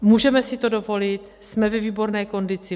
Můžeme si to dovolit, jsme ve výborné kondici.